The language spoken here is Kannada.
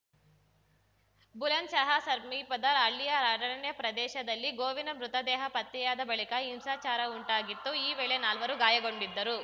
ಬುಲಂದ್‌ಶಹ ಸರ್ಮೀಪದ ಹಳ್ಳಿಯ ಅರಣ್ಯ ಪ್ರದೇಶದಲ್ಲಿ ಗೋವಿನ ಮೃತದೇಹ ಪತ್ತೆಯಾದ ಬಳಿಕ ಹಿಂಸಾಚಾರ ಉಂಟಾಗಿತ್ತು ಈ ವೇಳೆ ನಾಲ್ವರು ಗಾಯಗೊಂಡಿದ್ದರು